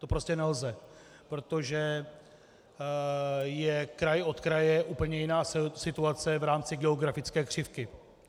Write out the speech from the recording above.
To prostě nelze, protože je kraj od kraje úplně jiná situace v rámci geografické křivky.